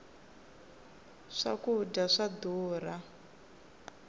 swa kudya swa durha